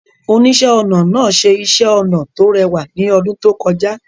Oníṣẹ́-ọnà náà ṣe iṣẹ́ ọnà tó rẹwà ní ọdún tó kọjá.